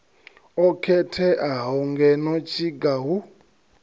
o khetheaho ngeno tshiga hu